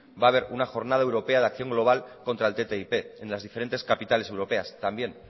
va a haber una jornada europea de acción global contra el ttip en las diferentes capitales europeas también